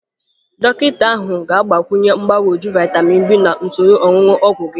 Dọkịta ahụ ga-agbakwunye mgbagwoju vaịtamịn B na usoro onunu ogwu gị.